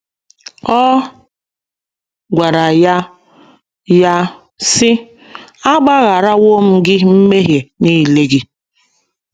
Ọ gwara ya ya, sị: “ A gbagharawo gị mmehie nile gị. ”